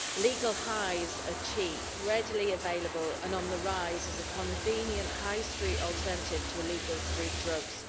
Legal highs are cheap, readily available and on the rise as a convenient high street alternative to illegal street drugs.